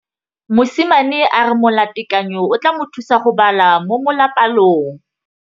Mosimane a re molatekanyô o tla mo thusa go bala mo molapalong.